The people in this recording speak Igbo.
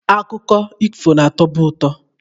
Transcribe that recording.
Akụkọ ifo na-atọbu ụtọ.